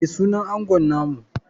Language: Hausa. Me sunan angon namu?